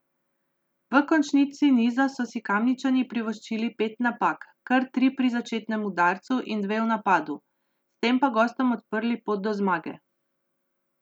V končnici niza so si Kamničani privoščili pet napak, kar tri pri začetnem udarcu in dve v napadu, s tem pa gostom odprli pot do zmage.